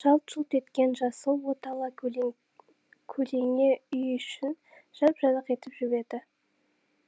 жалт жұлт еткен жасыл от ала көлеңе үй ішін жап жарық етіп жіберді